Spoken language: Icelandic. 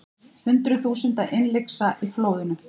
Hundruð þúsunda innlyksa í flóðunum